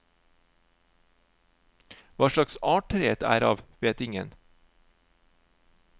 Hva slags art treet er av, vet ingen.